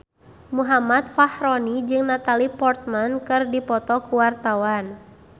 Muhammad Fachroni jeung Natalie Portman keur dipoto ku wartawan